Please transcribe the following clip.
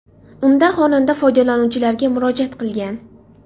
Unda xonanda foydalanuvchilarga murojaat qilgan.